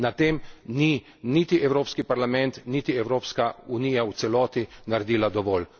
Na tem nista niti Evropski parlament niti Evropska unija v celoti naredila dovolj.